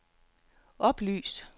oplys